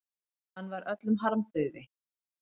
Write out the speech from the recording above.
Hann var öllum harmdauði.